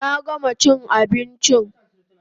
Na gama chin abinchin